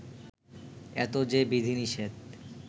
এত যে বিধিনিষেধ